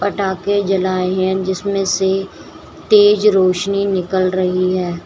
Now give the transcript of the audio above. पटाखे जलाए हैं जिसमें से तेज रोशनी निकल रही है।